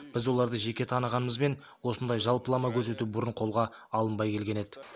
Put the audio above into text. біз оларды жеке танығанымызбен осындай жалпылама көрсету бұрын қолға алынбай келген еді